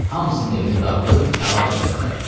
Hamısının evini dağıdıb tərk elədilər.